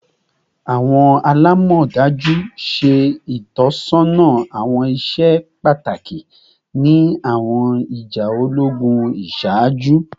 Awọn alamọdaju ṣe itọsọna awọn iṣẹ pataki ni awọn ija ologun iṣaaju